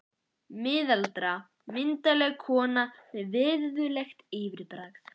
Miðaldra, myndarleg kona með virðulegt yfirbragð.